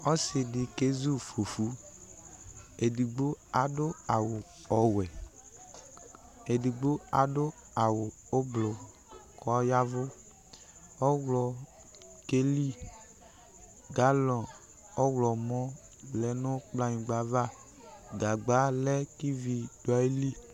Ɔsidi kézu ƒufu Édigbo adu awu ɔwuɛ, édigbo adu awu ublu, kɔ ɔyaʋu Ɔwlɔ kéli galɔ̂ ɔwlɔmɔ̌ lɛnu kplaynigba aʋa Gagba lɛ ki ivi du ayili